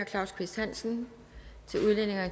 claus kvist hansen